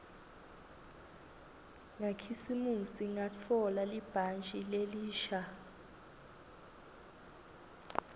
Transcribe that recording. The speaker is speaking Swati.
ngakhisimusi ngatfola libhantji lelisha